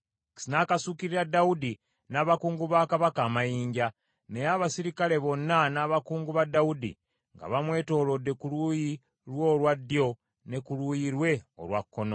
N’akasuukirira Dawudi n’abakungu ba kabaka amayinja, naye abaserikale bonna n’abakuumi ba Dawudi nga bamwetoolodde ku luuyi lwe olwa ddyo ne ku luuyi lwe olwa kkono.